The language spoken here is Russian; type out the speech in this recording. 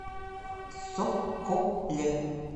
соколе